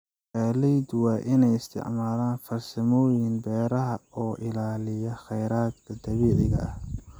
Beeraleydu waa inay isticmaalaan farsamooyin beeraha oo ilaaliya khayraadka dabiiciga ah.